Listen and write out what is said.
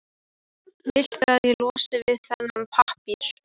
Viltu að ég losi þig við þennan pappír?